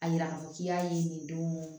A yira k'i y'a ye nin don